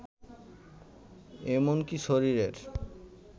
এমনকী শরীরের